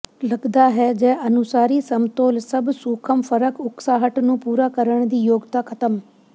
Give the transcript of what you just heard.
ਲੱਗਦਾ ਹੈ ਜ ਅਨੁਸਾਰੀ ਸਮਤੋਲ ਸਭ ਸੂਖਮ ਫਰਕ ਉਕਸਾਹਟ ਨੂੰ ਪੂਰਾ ਕਰਨ ਦੀ ਯੋਗਤਾ ਖਤਮ